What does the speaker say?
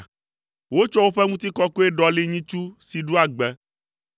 Wotsɔ woƒe Ŋutikɔkɔe ɖɔli nyitsu si ɖua gbe.